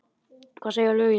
Hvað segja lögin?